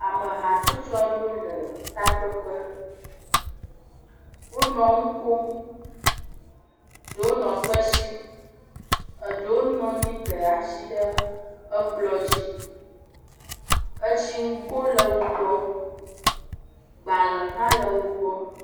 ame hatsotsoaɖewo le takpekpe wó nɔ ŋukom ɖewo nɔ kpesim eɖewo nɔnyi de asi ɖe ekplɔ̃ dzi etsi ŋgo le wó gbɔ gbalē hã le wó gbɔ